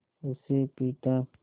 उसे पीटा